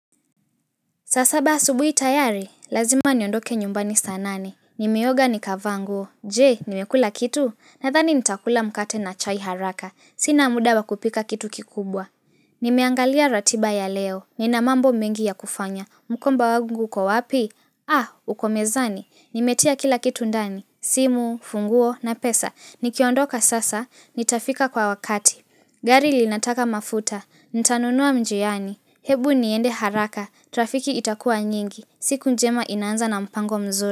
Saa saba asubuhi tayari, lazima niondoke nyumbani saa nane. Nimeoga nikavaa nguo, je, nimekula kitu, nadhani nitakula mkate na chai haraka, sina muda wa kupika kitu kikubwa. Nimeangalia ratiba ya leo, nina mambo mengi ya kufanya, mkomba wangu kwa wapi? Ah, uko mezani, nimetia kila kitu ndani, simu, funguo na pesa, nikiondoka sasa, nitafika kwa wakati. Gari linataka mafuta, ntanunua njiani, hebu niende haraka, trafiki itakua nyingi, siku njema inaanza na mpango mzuri.